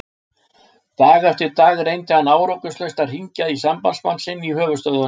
Dag eftir dag reyndi hann árangurslaust að hringja í sambandsmann sinn í höfuðstöðvum